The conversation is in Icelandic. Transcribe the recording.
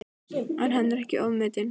Er hann ekki ofmetinn?